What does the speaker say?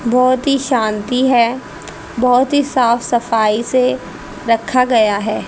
बहोत ही शांति है बहोत ही साफ सफाई से रखा गया है।